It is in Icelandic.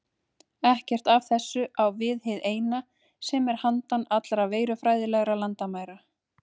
Ekkert af þessu á við hið Eina, sem er handan allra verufræðilegra landamæra.